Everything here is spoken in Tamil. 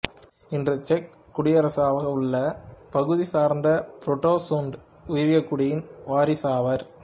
இன்று செக் குடியரசுவாக உள்ள பகுதிசார்ந்த புரோட்டசுடண்டு உயர்குடியின் வாரிசாவார்